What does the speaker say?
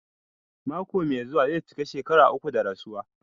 Mako mai zuwa zai cika shekara uku da rasuwa.